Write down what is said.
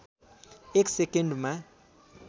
एक सेकन्डमा